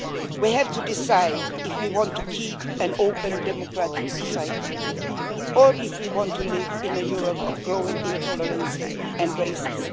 We have to decide if we want to keep an open, democratic society, or if we want to live in a Europe of growing intolerance and racism.